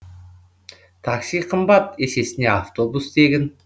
такси қымбат есесіне автобус тегін